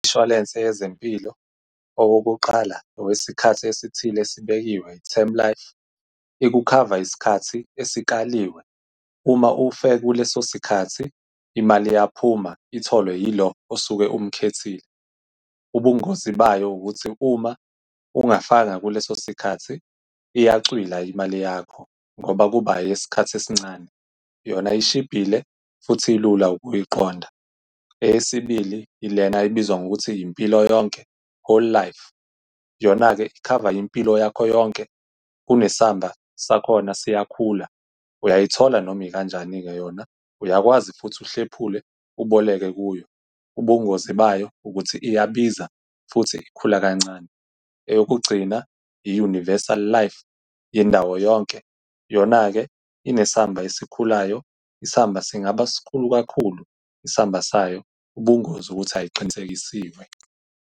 Umshwalense yezempilo owokuqala okwesikhathi esithile esibekiwe, i-term life, ikukhava isikhathi esikaliwe. Uma ufe kuleso sikhathi imali iyaphuma itholwe yilo osuke umkhethile. Ubungozi bayo ukuthi uma ungafanga kuleso sikhathi iyacwila imali yakho, ngoba kuba eyesikhathi esincane. Yona ishibhile, futhi ilula ukuyiqonda. Eyesibili, ilena ebizwa ngokuthi impilo yonke, whole life. Yona-ke ikhava impilo yakho yonke. Kunesamba sakhona, siyakhula, uyayithola noma ikanjani-ke yona, uyakwazi futhi uhlephule uboleke kuyo. Ubungozi bayo ukuthi iyabiza, futhi ikhula kancane. Eyokugcina, i-universal life, yendawo yonke. Yona-ke inesamba esikhulayo, isamba singaba sikhulu kakhulu, isamba sayo ubungozi ukuthi ayiqinisekisiwe.